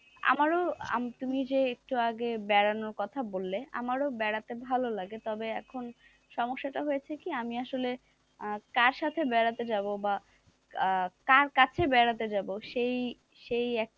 আমারও তুমি যে একটু আগে বেড়ানোর কথা বললে আমারও বেড়াতে ভালো লাগে তবে এখন সমস্যা টা হয়েছে কি আমি আসলে কার সাথে বেড়াতে যাব বা আহ কার কাছে বেড়াতে যাব সেই সেই এক~,